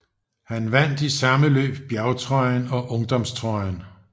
Han vandt i samme løb bjergtrøjen og ungdomstrøjen